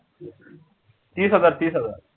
तीस हजार तीस हजार